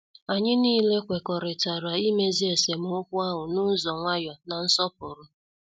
Anyị nile kwekọrịtara imezi esemokwu ahụ n' ụzọ nwayọ na nsọpụrụ.